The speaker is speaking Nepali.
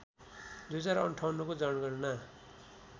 २०५८ को जनगणना